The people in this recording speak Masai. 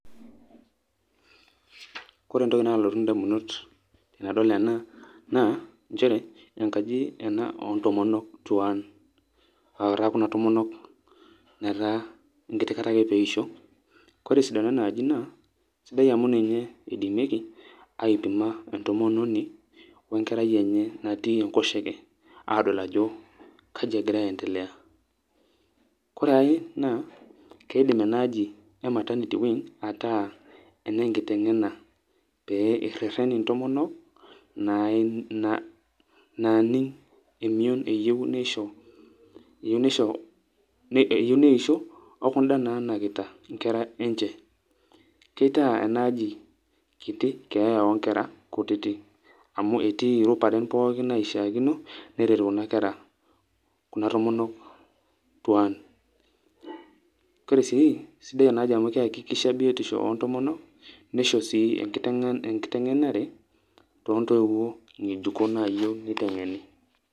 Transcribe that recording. Ore entoki nalotu indamunot tenadol ena, naa njere, enkaji ena ontomonok tuan. Ataa kuna tomonok netaa, enkiti kata ake peisho. Kore esidano enaaji naa, sidai amu ninye idimieki, aipima entomononi wenkerai enye natii enkoshoke adol ajo kaji egira aendelea. Kore ai naa, keidim enaaji e maternity wing ,ataa ene nkiteng'ena pee errerren intomonok, naaning' emion eyieu nisho, eyieu neisho, okuda nanakita inkera enche. Kitaa enaaji kiti keeya onkera kutitik. Amu etii irubaren pookin naishaakino, neret kuna kera, kuna tomonok tuan. Kore si, sidai enaaji amu keakikisha biotisho ontomonok, nisho si enkiteng'enare, tontoiwuo ng'ejuko nayieu niteng'eni.